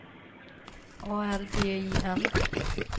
A L B I N